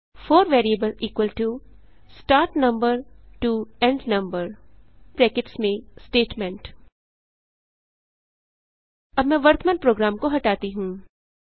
four variable start number to end number Statement अब मैं वर्तमान प्रोग्राम को हटाती हूँ